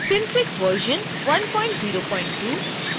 synfig version 102